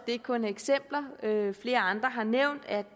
ikke kun er eksempler flere andre har nævnt at